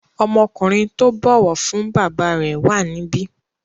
Ọmọkùnrin tó bọ̀wọ̀ fún bàbá rẹ̀ wà níbí.